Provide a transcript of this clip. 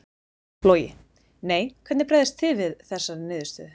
Logi: Nei, hvernig bregðist þið við þessari niðurstöðu?